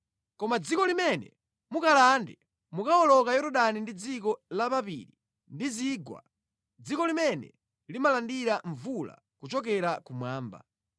Koma dziko limene mukalande mukawoloka Yorodani ndi dziko la mapiri ndi zigwa, dziko limene limalandira mvula kuchokera kumwamba.